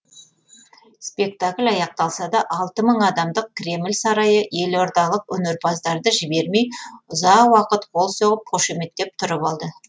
спектакль аяқталса да алты мың адамдық кремль сарайы елордалық өнерпаздарды жібермей ұзақ уақыт қол соғып қошеметтеп тұрып алды